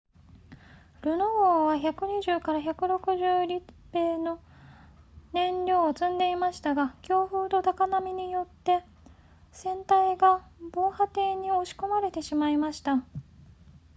ルノ号は 120～160 立米の燃料を積んでいましたが強風と高波によって船体が防波堤に押し込まれてしまいました